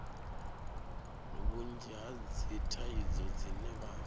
vhunzhi ha dzithaidzo dzine vha